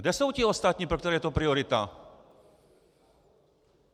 Kde jsou ti ostatní, pro které je to priorita?